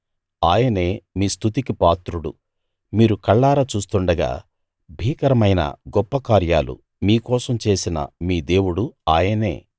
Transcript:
ఆయనే మీ స్తుతికి పాత్రుడు మీరు కళ్ళారా చూస్తుండగా భీకరమైన గొప్ప కార్యాలు మీ కోసం చేసిన మీ దేవుడు ఆయనే